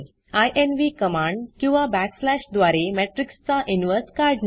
इन्व्ह command किंवा backslash द्वारे matrixमेट्रिक्स चा इनव्हर्स काढणे